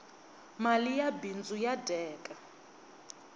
mali ya bindzu ya dyeka